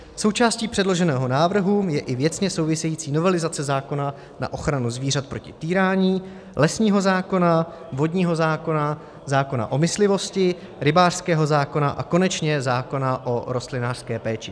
Součástí předloženého návrhu je i věcně související novelizace zákona na ochranu zvířat proti týrání, lesního zákona, vodního zákona, zákona o myslivosti, rybářského zákona a konečně zákona o rostlinolékařské péči.